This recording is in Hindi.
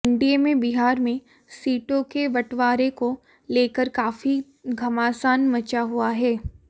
एनडीए में बिहार में सीटों के बंटवारे को लेकर काफ़ी घमासान मचा हुआ है